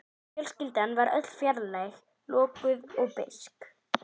Fjölskyldan var öll fjarlæg, lokuð og beisk.